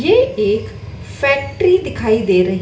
ये एक फैक्ट्री दिखाई दे र--